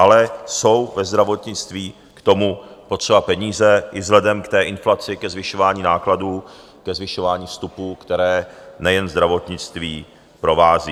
Ale jsou ve zdravotnictví k tomu potřeba peníze i vzhledem k té inflaci, ke zvyšování nákladů, ke zvyšování vstupů, které nejen zdravotnictví provází.